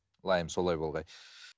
ләйім солай болғай